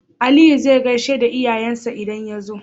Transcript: Aliyu zai gaishe da iyayen sa idan yazo